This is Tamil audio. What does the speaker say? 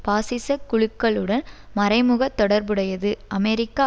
பாசிச குழுக்களுடன் மறைமுக தொடர்புடையது அமெரிக்க